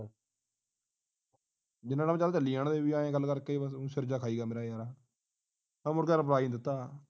ਜਿੰਨਾਂ time ਚੱਲਦਾ ਚੱਲੀ ਜਾਣ ਦੇ ਬਈ ਐ ਗੱਲ ਕਰਕੇ ਬਸ ਸਿਰ ਜਿਹਾ ਖਾਈ ਜਾਂਦੇ ਐ ਜਾਂਦੇ ਆ ਯਾਰਾ ਮੈ ਮੂਰਖ reply ਨਹੀਂ ਦਿੱਤਾ